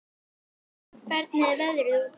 Ármann, hvernig er veðrið úti?